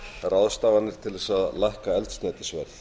ráðstafanir til að lækka eldsneytisverð